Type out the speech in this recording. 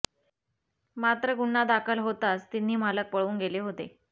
मात्र गुन्हा दाखल होताच तिन्ही मालक पळून गेले होते